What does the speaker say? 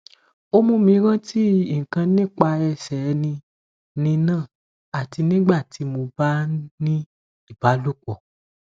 o mumi ranti nkan nipa ese ni ni na ati nini igbadun ti mo ba ni ibalopo